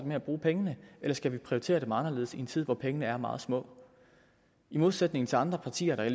med at bruge pengene eller skal vi prioritere dem anderledes i en tid hvor pengene er meget små i modsætning til andre partier der